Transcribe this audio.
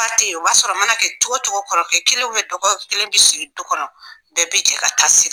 tɛ yen o mana kɛ cogo o cogo o b'a sɔrɔ kɔrɔkɛ kelen dɔgɔkɛ kelen bɛ sigi du kɔnɔ bɛɛ bɛ jɛ ka taa se